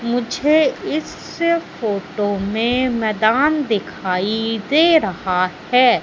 मुझे इस फोटो में मैदान दिखाई दे रहा है।